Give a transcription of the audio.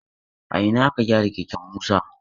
A ina aka gyara keken Musa?